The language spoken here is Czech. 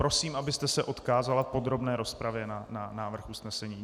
Prosím, abyste se odkázala v podrobné rozpravě na návrh usnesení.